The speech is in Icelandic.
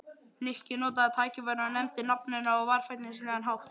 Nikki notaði tækifærið og nefndi nafn hennar á varfærnislegan hátt.